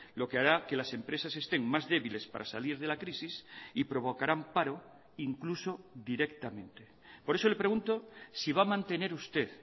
lo que hará que las empresas estén más débiles para salir de la crisis y provocarán paro incluso directamente por eso le pregunto si va a mantener usted